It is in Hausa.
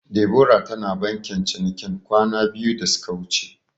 Debora tana bankin cinikin kwana biyu da suka wuce.